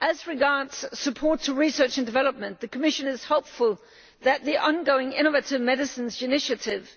As regards support to research and development, the Commission is hopeful that the ongoing Innovative Medicines Initiative